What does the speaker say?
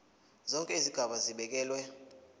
zonke izigaba zibekelwe